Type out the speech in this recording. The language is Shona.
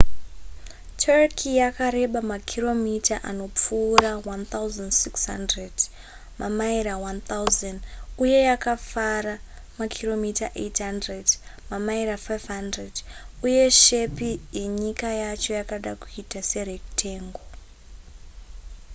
turkey yakareba makiromita anopfuura 1,600 mamaira 1,000 uye yakafara makiromita 800 mamaira 500 uye shepi yenyika yacho yakada kuita serectangle